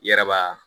I yɛrɛ b'a